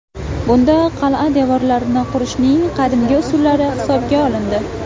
Bunda qal’a devorlarini qurishning qadimgi usullari hisobga olindi.